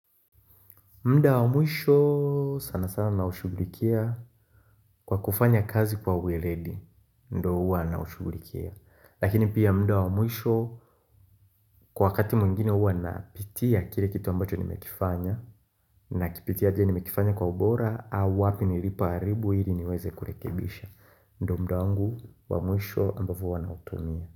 Muda wa mwisho sana sana na ushugulikia kwa kufanya kazi kwa uweledi, ndo huwa na ushugulikia Lakini pia muda wa mwisho kwa wakati mwingine huwa napitia kile kitu ambacho nimekifanya na kipitia aje nimekifanya kwa ubora au wapi nilipoharibu hili niweze kurekebisha ndo muda angu wa mwisho ambavu wanautumia.